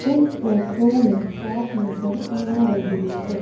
इस फोटो में शॉप नजर आ रही है।